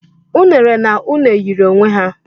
Unere na une yiri onwe ha